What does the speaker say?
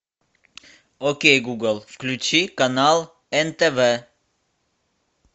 окей гугл включи канал нтв